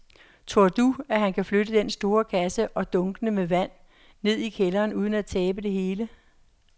Tror du, at han kan flytte den store kasse og dunkene med vand ned i kælderen uden at tabe det hele?